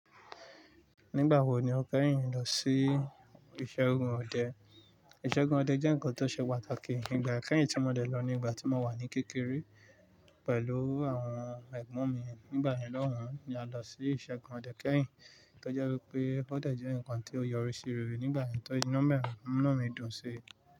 Nígbà wo ni o kẹ́yìn lọ sí ìṣẹ́gun ọdẹ? Ìṣẹ́gun ọdẹ jẹ́ ǹkan tó ṣe pàtàkì nígbà kẹ́yìn tí mo dẹ lọ nígbà tí mo wà ní kékeré pẹ̀lú àwọn ẹ̀gbọ́n mi. Nígbà náà na lọhun la lo si Ìṣẹ́gun ọdẹ kẹ́yìn tó jẹ́ wípé ọ̀ dẹ̀ jẹ́ ǹkan tí ó yọrí sí rere nígbà na tí o de múnu mi dùn si.